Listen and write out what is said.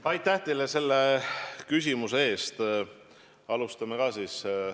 Aitäh teile küsimuse eest!